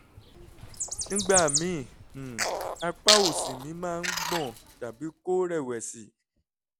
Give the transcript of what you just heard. nígbà míì um apá òsì mi máa ń gbọ̀n tàbí kó rẹ̀wẹ̀sì